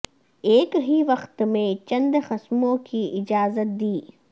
ایک ہی وقت میں یہ چند قسموں کی اجازت دی